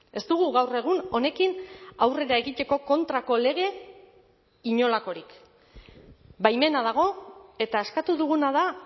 ez dugu gaur egun honekin aurrera egiteko kontrako lege inolakorik baimena dago eta eskatu duguna da